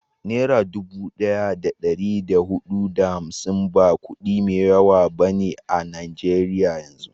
Nera dubu daya da dari da hudu da hamsin ba kudi mai yawa ba a najeriyan yanzu